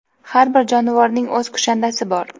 Har bir jonivorning o‘z kushandasi bor.